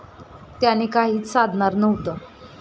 त्याने काहीच साधणार नव्हतं.